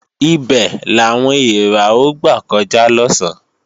Ibè làwọn èèrà ó gbà kọjá lọ̀sán